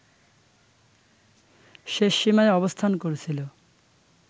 শেষ সীমায় অবস্থান করছিল